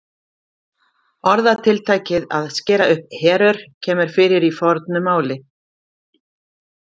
Orðatiltækið að skera upp herör kemur fyrir í fornu máli.